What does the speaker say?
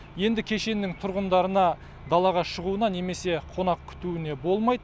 енді кешеннің тұрғындарына далаға шығуына немесе қонақ күтуіне болмайды